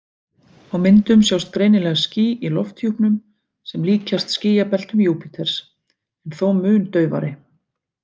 Á myndum sjást greinilega ský í lofthjúpnum sem líkjast skýjabeltum Júpíters, en þó mun daufari.